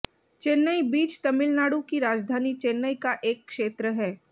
Chennai beach Tamil Nadu की राजधानी चेन्नई का एक क्षेत्र है